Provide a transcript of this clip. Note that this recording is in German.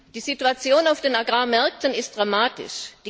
Die Situation auf den Agrarmärkten ist dramatisch.